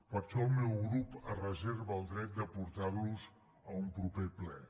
per això el meu grup es reserva el dret de portar los a un proper ple